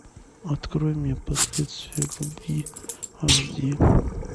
открой мне последствия любви аш ди